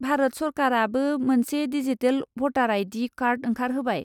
भारत सोरखारआबो मोनसे डिजिटेल भटार आइ.डि. कार्ड ओंखारहोबाय।